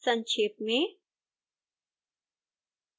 संक्षेप में